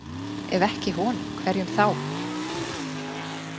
Ef ekki honum, hverjum þá?